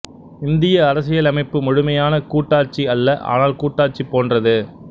இந்திய அரசியலமைப்பு முழுமையான கூட்டாட்சி அல்ல ஆனால் கூட்டாட்சி போன்றது